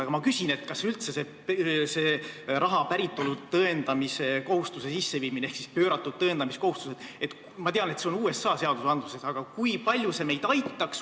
Aga ma küsin, kui palju üldse see raha päritolu tõendamise kohustuse sisseviimine ehk pööratud tõendamiskohustus – ma tean, et USA seadustes on see olemas – meid aitaks.